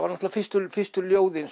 náttúrulega fyrstu fyrstu ljóðin